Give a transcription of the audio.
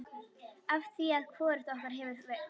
Afþvíað hvorugt okkar hefur kveikt.